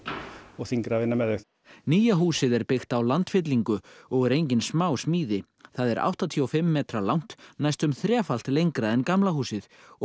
þyngra að vinna með þau nýja húsið er byggt á landfyllingu og er engin smásmíði það er áttatíu og fimm metra langt næstum þrefalt lengra en gamla húsið og